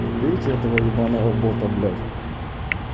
бейте этого ёбаного бота блять